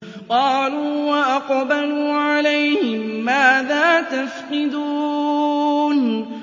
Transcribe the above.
قَالُوا وَأَقْبَلُوا عَلَيْهِم مَّاذَا تَفْقِدُونَ